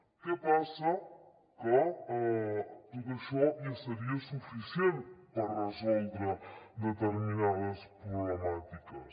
què passa que tot això ja seria suficient per resoldre determinades problemàtiques